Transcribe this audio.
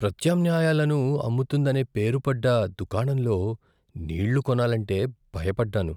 ప్రత్యామ్నాయాలను అమ్ముతుందనే పేరు పడ్డ దుకాణంలో నీళ్ళు కొనాలంటే భయపడ్డాను.